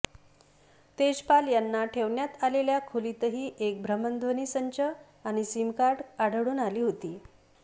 तेजपाल याला ठेवण्यात आलेल्या खोलीतही एक भ्रमणध्वनी संच आणि सीमकार्डे आढळून आली होती